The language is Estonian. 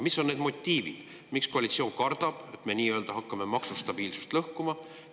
Mis on need motiivid, miks koalitsioon kardab, et me nii-öelda hakkame maksustabiilsust lõhkuma?